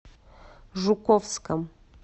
жуковском